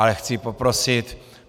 Ale chci poprosit.